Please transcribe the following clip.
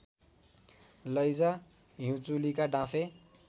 लैजा हिउँचुलीका डाँफे